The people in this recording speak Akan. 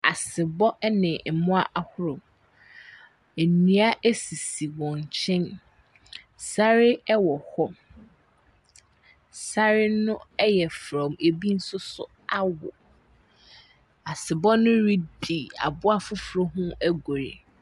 Asebɔ ne mmoa ahorow. Nnua sisi wɔn nkyɛn. Sare wɔ hɔ. Sare no yɛ frɔmm, ebi nso so awo. Asebɔ no redi aboa foforɔ ho agoru.